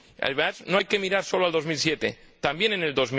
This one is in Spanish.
Además, no hay que mirar sólo al 2007, también al